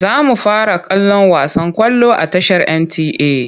Za mu fara kallon wasan ƙwallo a tashar NTA.